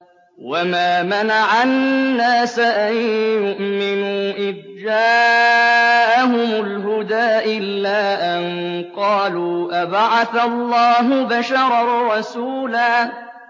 وَمَا مَنَعَ النَّاسَ أَن يُؤْمِنُوا إِذْ جَاءَهُمُ الْهُدَىٰ إِلَّا أَن قَالُوا أَبَعَثَ اللَّهُ بَشَرًا رَّسُولًا